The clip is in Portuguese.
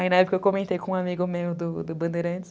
Aí na época eu comentei com um amigo meu do do Bandeirantes.